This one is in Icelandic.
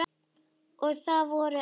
Og það vorum við.